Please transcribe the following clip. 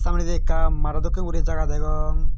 samnedi ekka mado dokken guri jaga degong.